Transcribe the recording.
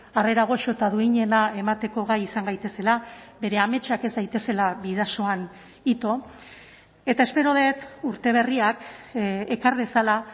harrera goxo eta duinena emateko gai izan gaitezela bere ametsak ez daitezela bidasoan ito eta espero dut urte berriak ekar dezala